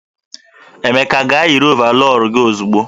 Emeka gaa yiri ọvarọọr gi ozugbo!